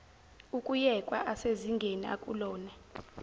ukuyekwa asezingeni akulona